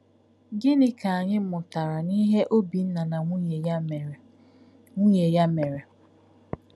Gịnị ka anyị mụtara n’ihe Obinna na nwunye ya mere? nwunye ya mere?